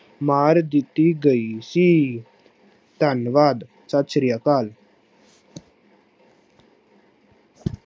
ਮਾਰ ਦਿੱਤੀ ਗਈ ਸੀ, ਧੰਨਵਾਦ, ਸਤਿ ਸ੍ਰੀ ਅਕਾਲ।